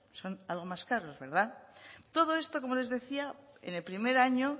son algo más caros verdad todo esto como les decía en el primer año